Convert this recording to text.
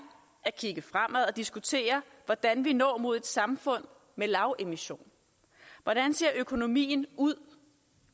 at kigge fremad og diskutere hvordan vi når mod et samfund med lavemission hvordan ser økonomien ud